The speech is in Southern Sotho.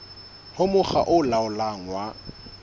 ho mokga o laolang wa